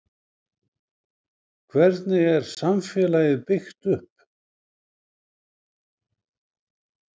Hvernig er samfélagið byggt upp?